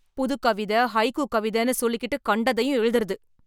புதுக்கவிதை, ஹைக்கூ கவிதைன்னு சொல்லிக்கிட்டு கண்டதையும் எழுதுறது.